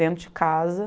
Dentro de casa.